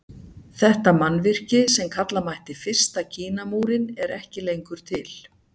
Þetta mannvirki sem kalla mætti fyrsta Kínamúrinn er ekki lengur til.